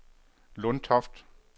Lundtoft